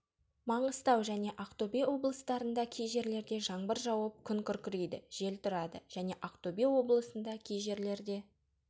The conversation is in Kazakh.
маңғыстаужәне ақтөбе облыстарында кей жерлерде жаңбыр жауып күн күркірейді жел тұрады және ақтөбе облысында кей жерлерде